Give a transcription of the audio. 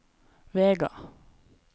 Vega